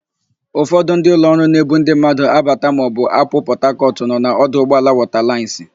Ụfọdụ ndị ụlọọrụ na-ebu ndị mmadụ abata maọbụ apụ Pọtakọtụ nọ na ọdụụgbọala Wọtalaịnsị.